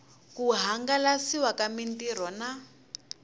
ku hangalasiwa ka mitirho na